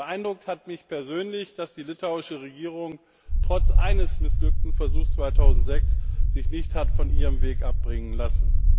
Beeindruckt hat mich persönlich, dass sich die litauische Regierung trotz eines missglückten Versuchs 2006 nicht von ihrem Weg hat abbringen lassen.